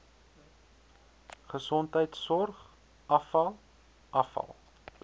gesondheidsorg afval afval